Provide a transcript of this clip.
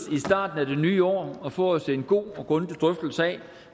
i det nye år og få os en god og grundig drøftelse af